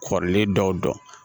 Kɔrɔlen dɔw dɔn